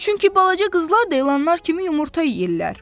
Çünki balaca qızlar da ilanlar kimi yumurta yeyirlər.